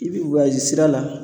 I bi sira la